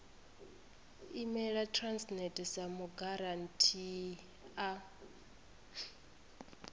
imela transnet sa mugarantii a